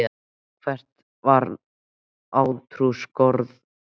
Hvert var átrúnaðargoð þitt?